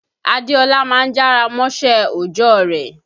Adéọlá má ń jára mọ́ṣẹ́ òjọ́ rẹ̀